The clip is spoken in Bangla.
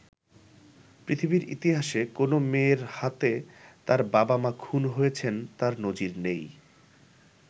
পৃথিবীর ইতিহাসে কোনো মেয়ের হাতে তার বাবা-মা খুন হয়েছেন তার নজির নেই।